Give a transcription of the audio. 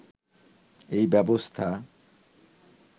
এই ব্যবস্থা